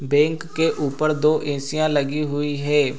Bank के ऊपर दो ऐसीयां लगी हुई हे।